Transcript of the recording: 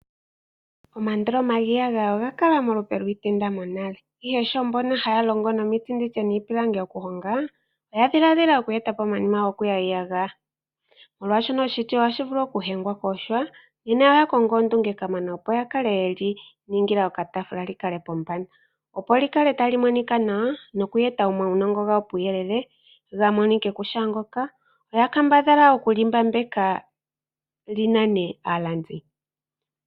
Omandoloma giiyagaya oga kala momalupe giitenda monale, ihe sho mbono haya longo nomiti nenge niipilangi okuhonga, oya dhiladhila oku eta po omayima gokuya iiyagaya. Molwashoka oshiti ohashi vulu okutukwa kosha, oya kongo ondunge kamana, opo ya kale ye li ningila okataafula li kale pombanda, opo li kale tali monika nawa noku eta omaunongo gawo puuyelele ga monike ku shaangonga, oya kambadhala okuli mbapeka li nane aalandi.